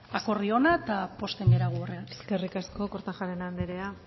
ba akordio ona eta pozten gara eskerrik asko kortajarena anderea